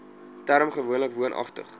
term gewoonlik woonagtig